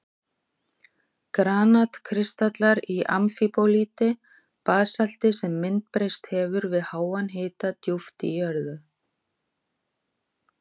Granat-kristallar í amfíbólíti, basalti sem myndbreyst hefur við háan hita djúpt í jörðu.